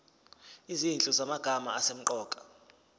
izinhlu zamagama asemqoka